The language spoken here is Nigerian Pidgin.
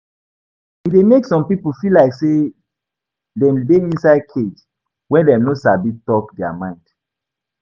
E de make some pipo feel like say dem de inside cage when dem no sabi talk their mind